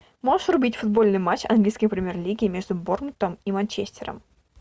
можешь врубить футбольный матч английской премьер лиги между борнмутом и манчестером